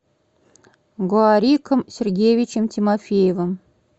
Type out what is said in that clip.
гоариком сергеевичем тимофеевым